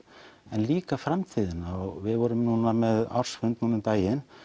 en líka framtíðina og við vorum núna með ársfund um daginn